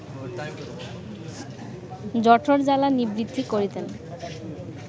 জঠরজ্বালা নিবৃত্তি করিতেন